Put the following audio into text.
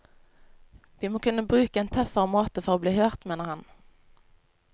Vi må kunne bruke en tøffere måte for å bli hørt, mener han.